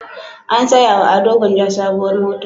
An saya wa Ado Gwanja sabuwar mota.